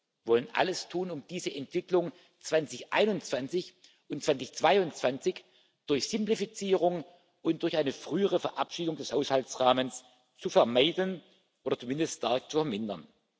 Wir wollen alles tun, um diese Entwicklung 2021 und 2022 durch Simplifizierung und durch eine frühere Verabschiedung des Haushaltsrahmens zu vermeiden oder zumindest stark zu vermindern.